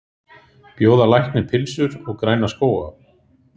Bjóða lækni pylsur og græna skóga